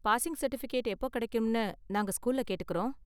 Passing certificate எப்போ கிடைக்கும்னு நாங்க ஸ்கூல்ல கேட்டுக்கறோம்.